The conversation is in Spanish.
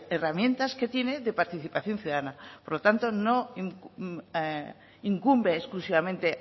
herramientas que tiene de participación ciudadana por lo tanto no incumbe exclusivamente